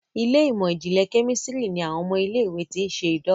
Ilé ìmọ̀n-jinlẹ Kẹ́mísìrì ní àwọn ọmọ ilé ìwé ti. ṣe idanwò.